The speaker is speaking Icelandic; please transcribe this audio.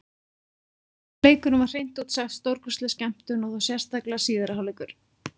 Leikurinn var hreint út sagt stórkostleg skemmtun, og þá sérstaklega síðari hálfleikurinn.